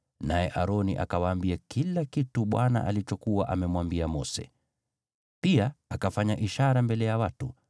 naye Aroni akawaambia kila kitu Bwana alichokuwa amemwambia Mose. Pia akafanya ishara mbele ya watu,